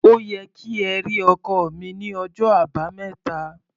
Ó yẹ kí ẹ rí ọkọ́ mi ní ọjọ́ Àbámẹ́ta.